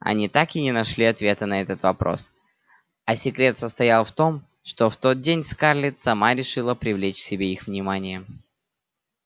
они так и не нашли ответа на этот вопрос а секрет состоял в том что в тот день скарлетт сама решила привлечь к себе их внимание